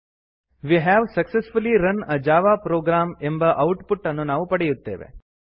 we have successfully run a Java program ಎಂಬ output ಅನ್ನು ನಾವು ಪಡೆಯುತ್ತೇವೆ